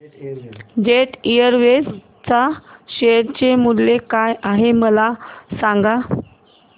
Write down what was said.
jet Airways च्या share चे मूल्य काय आहे मला सांगा